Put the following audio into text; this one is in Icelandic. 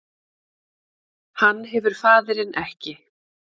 Hann hefur faðirinn ekki